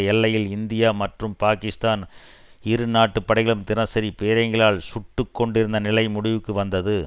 எல்லையில் இந்தியா மற்றும் பாகிஸ்தான் இரு நாட்டுப் படைகளும் தினசரி பீரங்கிகளால் சுட்டு கொண்டிருந்த நிலை முடிவுக்கு வந்தது